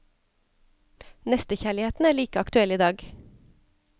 Nestekjærligheten er like aktuell i dag.